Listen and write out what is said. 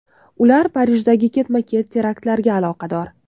Ular Parijdagi ketma-ket teraktlarga aloqador.